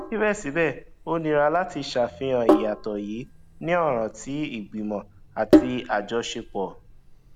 síbẹsíbẹ ó nira láti ṣàfihàn ìyàtọ yìí ní ọràn tí ìgbìmọ̀ àti àjọṣepọ